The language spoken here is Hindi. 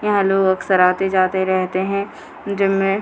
यहां लोग अक्सर आते-जाते रहते हैं जिम में।